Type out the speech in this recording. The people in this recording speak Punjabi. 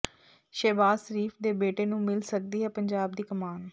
ਸ਼ਹਿਬਾਜ਼ ਸ਼ਰੀਫ ਦੇ ਬੇਟੇ ਨੂੰ ਮਿਲ ਸਕਦੀ ਹੈ ਪੰਜਾਬ ਦੀ ਕਮਾਨ